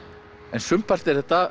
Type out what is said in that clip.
en sumpart er þetta